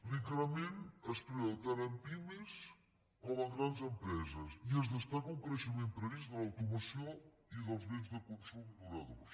l’increment es preveu tant en pimes com en grans empreses i es destaca un creixement previst de l’automoció i dels béns de consum duradors